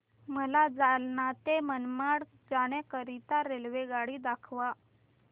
मला जालना ते मनमाड जाण्याकरीता रेल्वेगाडी दाखवा